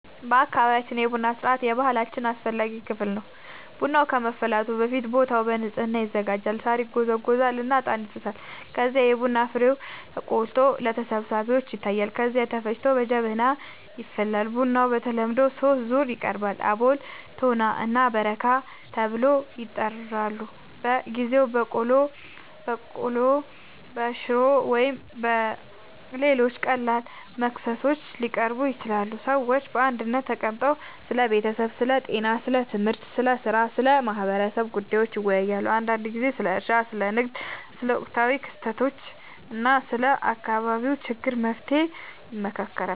በአካባቢያችን የቡና ሥርዓት የባህላችን አስፈላጊ ክፍል ነው። ቡናው ከመፍላቱ በፊት ቦታው በንጽህና ይዘጋጃል፣ ሳር ይጎዘጎዛል እና እጣን ይጨሳል። ከዚያም የቡና ፍሬው ተቆልቶ ለተሰብሳቢዎች ይታያል፣ ከዚያ ተፈጭቶ በጀበና ይፈላል። ቡናው በተለምዶ በሦስት ዙር ይቀርባል፤ አቦል፣ ቶና እና በረካ ተብለው ይጠራሉበ ጊዜ በቆሎ፣ ቆሎ፣ ሽሮ ወይም ሌሎች ቀላል መክሰሶች ሊቀርቡ ይችላሉ። ሰዎች በአንድነት ተቀምጠው ስለ ቤተሰብ፣ ስለ ጤና፣ ስለ ትምህርት፣ ስለ ሥራ እና ስለ ማህበረሰቡ ጉዳዮች ይወያያሉ። አንዳንድ ጊዜ ስለ እርሻ፣ ስለ ንግድ፣ ስለ ወቅታዊ ክስተቶች እና ስለ አካባቢው ችግሮች መፍትሔ ይመካከራሉ